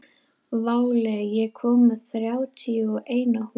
Váli, ég kom með þrjátíu og eina húfur!